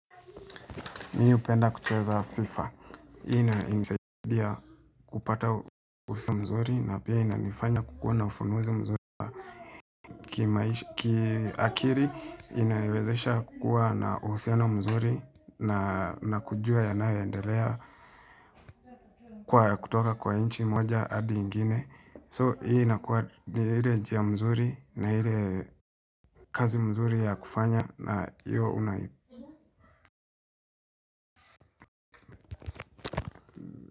Mimi hupenda kucheza Fifa. Hii inanisaidia kupata uhusiano mzuri na pia inanifanya kukuwa ufunuzi mzuri. Kiakili, inaniwezesha kukua na uhusiano mzuri na kujua yanayoendelea kwa kutoka kwa nchi moja hadi ingine. So, hii inakuwa ni ile njia mzuri na ile kazi mzuri ya kufanya na iyo unai.